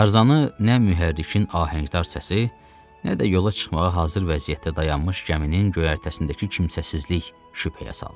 Tarzanı nə mühərrikin ahəngdar səsi, nə də yola çıxmağa hazır vəziyyətdə dayanmış gəminin göyərtəsindəki kimsəsizlik şübhəyə saldı.